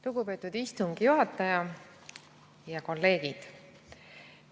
Lugupeetud istungi juhataja ja kolleegid!